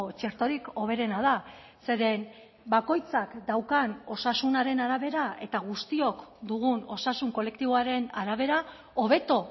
txertorik hoberena da zeren bakoitzak daukan osasunaren arabera eta guztiok dugun osasun kolektiboaren arabera hobeto